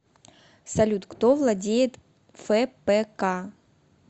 салют кто владеет фпк